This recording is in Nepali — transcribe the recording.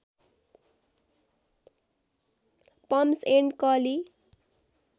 पम्प्स एण्ड क लि